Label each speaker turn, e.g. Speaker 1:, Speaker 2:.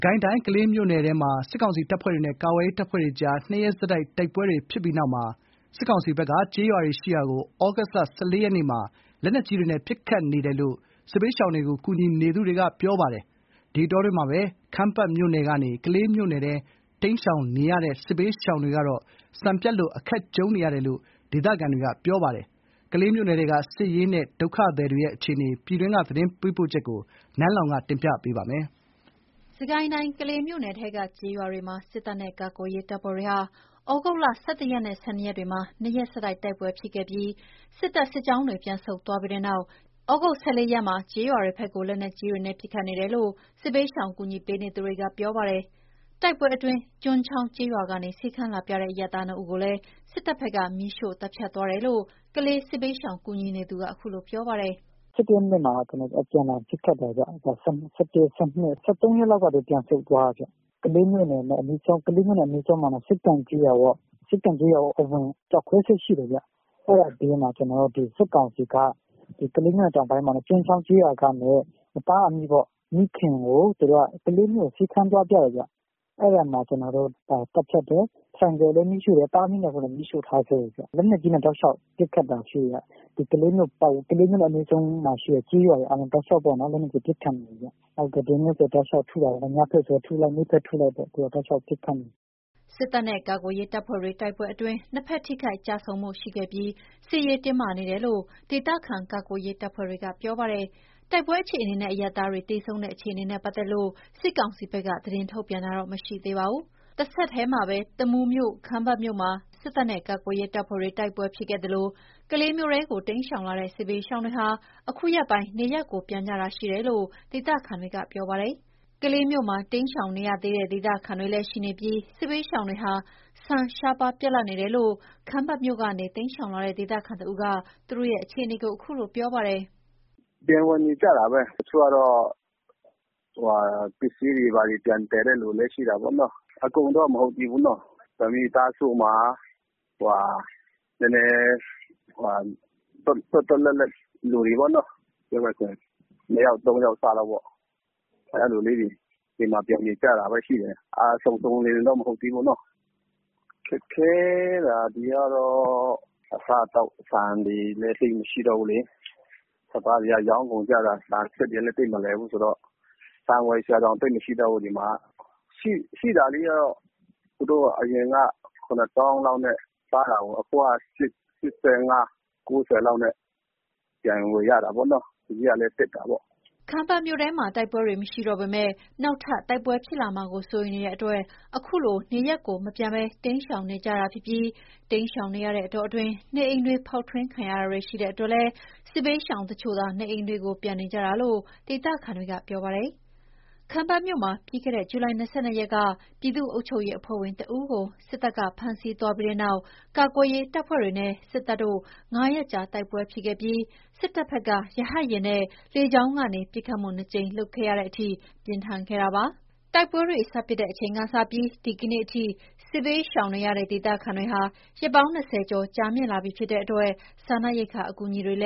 Speaker 1: ကိုင်းတိုင်း ကလေးမြို့နယ်ထဲမှာ စစ်ကောင်စီတပ်ဖွဲ့တွေနဲ့ ကာကွယ်ရေး တပ်ဖွဲ့တွေကြား နှစ်ရက်ဆက်တိုက် တိုက်ပွဲဖြစ်ပြီးနောက် စစ်ကောင်စီ ဘက်က ကျေးရွာတွေရှိရာကို လက်နက်ကြီးတွေနဲ့ ပစ်ခတ်နေတယ်လို့ စစ်ဘေးရှောင်တွေကို ကူညီနေသူတွေက ပြောပါတယ်။ ဒီအတောအတွင်း ခမ်းပတ်မြို့ကနေ ကလေးမြို့ထဲ တိမ်းရှောင်နေရတဲ့ စစ်ဘေးရှောင်တွေကတော့ ဆန်ပြတ်လို့ အခက်ကြုံနေရတယ်လို့ ဒေသခံတွေက ပြောပါတယ်။ ကလေးမြို့နယ်ထဲက စစ်ရေးနဲ့ ဒုက္ခသည်တွေရဲ့ အခြေအနေကို နန်းလောင်ဝ် တင်ပြပေးထားပါတယ်။
Speaker 2: စစ်ကိုင်းတိုင်း ကလေးမြို့နယ်ထဲက ကျေးရွာတွေမှာ စစ်တပ်နဲ့ကာကွယ်ရေး တပ်ဖွဲ့တွေကြား ဒီလ ၁၁ ရက်နဲ့ ၁၂ ရက်နေ့တွေက နှစ်ရက် ဆက်တိုက် တိုက်ပွဲတွေ ဖြစ်ခဲ့ပြီး စစ်တပ်စစ်ကြောင်းတွေ ပြန်ဆုတ်သွားပြီးတဲ့နောက် သြဂုတ်လ ၁၄ ရက်နေ့မှာတော့ ကျေးရွာတွေဘက်ကို လက်နက်ကြီးတွေနဲ့ ပစ်ခတ်နေတယ်လို့ စစ်ဘေးရှောင် ကူညီပေးနေသူတွေက ပြောပါတယ်။ တိုက်ပွဲတွေအတွင်း ကျွန်းချောင်းကျေးရွာကနေ ဆေးခန်းလာပြတဲ့ အရပ်သား ၂ ဦးကို စစ်တပ်ဘက်က မီးရှို့သတ်ဖြတ်သွားတယ်လို့ ကလေး ဒေသခံ စစ်ဘေးရှောင်ကူညီနေသူက အခုလို ပြောပါတယ်။
Speaker 3: “၁၁ ရက်နေ့မှာ အပြန်အလှန် ပစ်ခတ်တယ်ခင်ဗျ။ ၁၁၊ ၁၂၊ ၁၃ ရက်လောက်မှာ သူတို့ ပြန်ဆုတ်သွားတယ်။ ကလေးမြို့နဲ့ အနီးဆုံး စက္ကန့်ကျေးရွာပေါ့။ စက္ကန့် ကျေးရွာအဝင် ကျောက်ခွဲစက် ရှိတယ်။ အဲ့ဘေးမှာ စစ်ကောင်စီက ကလေးမြို့တောင်ပိုင်း ကျွန်းချောင်းကျေးရွာကနေ သားအမိပေါ့။ မိခင်ကို ဆေးခန်းသွားပြတယ်ခင်ဗျ။ အဲ့ဒါမှာ သတ်ဖြတ်တယ်။ ဆိုင်ကယ်လည်းမီးရှို့တယ်။ သားအမိ ၂ ယောက်လုံးကိုလည်း မီးရှို့ထားခဲ့တယ်ခင်ဗျ။ လက်နက်ကြီးနဲ့ တောက်လျှောက် ပစ်ခတ်တာရှိတယ်။ ကလေးမြို့နဲ့အနီးဆုံးရှိတဲ့ကျေးရွာတွေကို လက်နက်ကြီးနဲ့ ပစ်ခတ်နေတယ်။ ဒီနေ့ဆို တောက်လျှောက်ထုနေတာ။ နေ့ဘက်ထုလိုက် ညဘက်ထုလိုက် တောက်လျှောက်ကိုထုနေတာ။
Speaker 2: ” စစ်တပ်နဲ့ကာကွယ်ရေးတပ်ဖွဲ့တွေကြား တိုက်ပွဲအတွင်း နှစ်ဘက် ထိခိုက်ကျဆုံးမှု ရှိခဲ့ပြီး စစ်ရေး တင်းမာနေတယ်လို့ ဒေသခံ ကာကွယ်ရေးတပ်ဖွဲ့တွေက ပြောပါတယ်။ တိုက်ပွဲအခြေအနေနဲ့ အရပ်သားသေဆုံးမှုတွေနဲ့ပတ်သက်လို့ စစ်ကောင်စီဘက်က သတင်းထုတ်ပြန်တာ မရှိသေးပါဘူး။ ဒီအတောအတွင်း တမူးမြို့နယ်ထဲက ခမ်းပတ်မြို့မှာ ပြီးခဲ့တဲ့လက တိုက်ပွဲတွေကြောင့် ကလေးမြို့ဘက် စစ်ရှောင်နေကြသူတွေကြား ဆန်ရှားပါးပြတ်လပ်လို့ စားသောက်ရေး အခက်ကြုံနေရပြီး စစ်ရှောင်တချို့ကတော့ ခမ်းပတ်မြို့ထဲ ပြန် ဝင်နေထိုင်ဖို့ ကြိုးစားနေကြတယ်လို့လည်း ဒေသခံတဦးက ပြောပါတယ်။
Speaker 4: “ပြန်ဝင်နေကြတာပဲ။ တချို့ကတော့ ပစ္စည်းတွေ ဘာတွေ ပြန်သယ်နေကြတဲ့ သူတွေလည်း ရှိတာပေါ့။ အကုန်တော့ မဟုတ်သေးဘူး။ တမိသားစုမှာ နည်းနည်း သွက်သွက်လက်လက် လူတွေပေါ့နော်။ ပြောမယ်ဆို ၂ ယောက် ၃ ယောက်စပေါ့။ အဲ့လိုလေးတွေ အိမ်မှာ ပြန်နေကြတာပဲ ရှိတယ်။ စုံစုံလင်လင်တော့ မဟုတ်သေးဘူးပေါ့နော်။ ခက်ခဲတာ ဒီကတော့ အစားအသောက် ဆန်တွေလည်း သိပ်မရှိတော့ဘူးလေ။ စပါးတွေကလည်း ရောင်းကုန်ကြတာ။ ဆန်စက်တွေကလည်း သိပ်မလည်ဘူးဆိုတော့ ဆန်ဝယ်စရာတောင် သိပ်မရှိတော့ဘူး။ ဒီမှာက ရှိတာလေးက သူတို့အရင်က ၇ သောင်းလောက်နဲ့ စားတာကို အခုက ၈၅/၉၀ လောက်နဲ့ ပြန်ဝယ်ရတာပေါ့။ ဈေးကလည်း တက်တာပေါ့။
Speaker 2: ” ခမ်းပတ်မြို့ထဲမှာ တိုက်ပွဲတွေမရှိတော့ပေမဲ့ နောက်ထပ် တိုက်ပွဲတွေ ဖြစ်လာမှာကို စိုးရိမ်နေရဆဲဖြစ်တာမို့ နေရပ်မပြန်ရဲသူတွေ အများအပြား ရှိနေတာပါ။ တချို့ကတော့ စစ်ရှောင်နေတဲ့ ကာလအတွင်း နေအိမ်တွေ ဖောက်ထွင်းခံရတာ ရှိလို့ နေအိမ်တွေကို ပြန်နေကြတာလို့ ဒေသခံတွေက ပြောပါတယ်။ ခမ်းပတ်မြို့မှာ ပြီးခဲ့တဲ့ ဇူလိုင် ၂၂ ရက်က ပြည်သူ့အုပ်ချုပ်ရေးအဖွဲ့ဝင်တဦးကို စစ်တပ်က ဖမ်းဆီးသွားပြီးတဲ့နောက် ကာကွယ်ရေးတပ်ဖွဲ့တွေနဲ့ စစ်တပ်တို့ ၅ ရက်ကြာတိုက်ပွဲဖြစ်ခဲ့ပြီး စစ်တပ်ဘက်က ရဟတ်ယာဉ်နဲ့ လေကြောင်းကနေ ၂ ကြိမ် ပစ်ခတ်တဲ့အထိ ပြင်းထန်ခဲ့ပါတယ်။ တိုက်ပွဲတွေ စဖြစ်တဲ့အချိန်ကစလို့ ဒီကနေ့အထိ ဒေသခံတွေ စစ်ဘေးရှောင်နေရတာ ရက် ၂၀ ကျော် ကြာလာနေပြီ ဖြစ်လို့ စားနပ်ရိက္ခာ အကူအညီတွေ လ